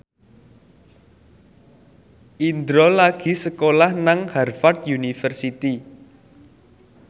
Indro lagi sekolah nang Harvard university